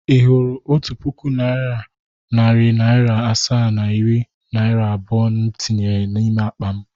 Ị hụrụ otu puku naịra, nari naira asaa na iri naira abụọ m tinyere n’ime akpa m?